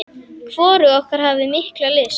Hvorug okkar hafði mikla lyst.